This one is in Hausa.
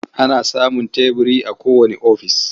An samun teburi a kowanne ofis.